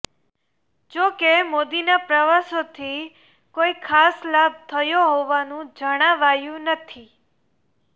જો કે મોદીના પ્રવાસોથી કોઈ ખાસ લાભ થયો હોવાનું જણાવાયું નથી